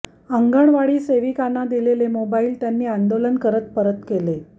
अंगणवाडी सेविकाना दिलेले मोबाइल त्यांनी आंदोलन करत परत केले